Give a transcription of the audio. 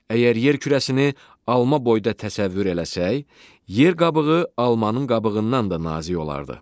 Əgər yer kürəsini alma boyda təsəvvür eləsək, yer qabığı almanın qabığından da nazik olardı.